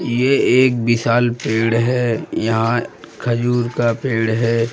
ये एक विशाल पेड़ है यहाँ खजूर का पेड़ है।